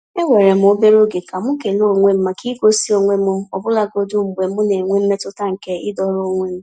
Eweere m obere oge ka m kele onwe m maka igosi onwe m ọbụlagodi mgbe m na-enwe mmetụta nke ịdọrọ onwe m.